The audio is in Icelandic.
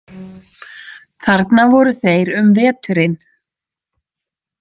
Þarna voru þeir um veturinn.